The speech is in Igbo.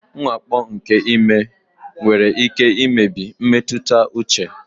Mwakpo nke ime nwere ike imebi mmetụta uche.